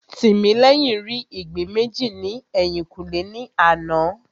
Tìmílẹ́yìn rí ìgbín méjì ní ẹ̀yìnkùlé ní àná